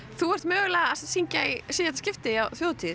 þú ert mögulega að syngja í síðasta skipti á þjóðhátíð